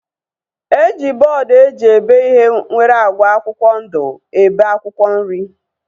E ji bọọdu eji ebe ihe nwere agba akwụkwọ ndụ ebe akwụkwọ nri